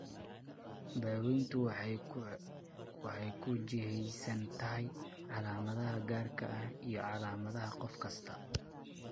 Daaweyntu waxay ku jihaysan tahay calamadaha gaarka ah iyo calaamadaha qof kasta.